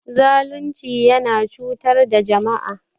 Zalunci yana cutar da jama'a.